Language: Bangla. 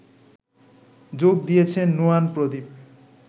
যোগ দিয়েছেন নুয়ান প্রদীপ